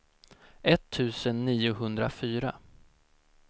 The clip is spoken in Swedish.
etttusen niohundrafyra